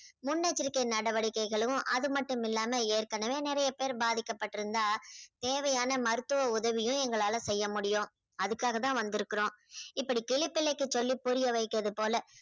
முன்னெச்சரிக்கை நடவடிக்கைகளும் அது மட்டும் இல்லாம ஏற்கனவே நிறைய பேரு பாதிக்கப்பட்டிருந்தா தேவையான மருத்துவ உதவியும் எங்களால செய்ய முடியும். அதுக்காகதான் வந்திருக்கிறோம். இப்படி கிளி பிள்ளைக்கு சொல்லி புரியவைக்கிறது போல